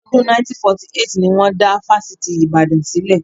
Ọdún 1948 ni wọn dá Fásitì Ibadan sílẹ̀